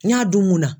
N y'a dun mun munna